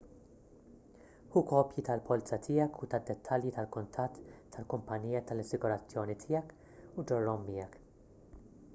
ħu kopji tal-polza tiegħek u tad-dettalji tal-kuntatt tal-kumpanija tal-assigurazzjoni tiegħek u ġorrhom miegħek